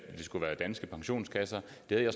dag af